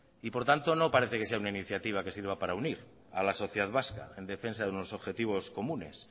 y por tanto no parece que sea una iniciativa que sirva para unir a la sociedad vasca en defensa de unos objetivos comunes